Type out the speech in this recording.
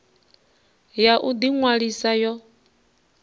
ya u ḓi ṅwalisa yo